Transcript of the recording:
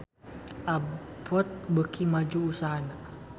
Abboth beuki maju usahana